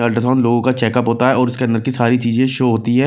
Ultra sound लोगों का checkup होता है और उसके अंदर की सारी चीजें शो होती है।